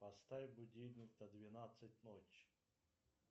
поставь будильник на двенадцать ночи